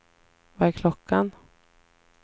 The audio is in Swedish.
Vad är klockan